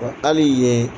Wa hali yen